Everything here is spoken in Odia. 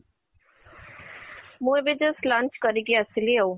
ମୁଁ ଏବେ just launch କରିକି ଆସିଲି ଆଉ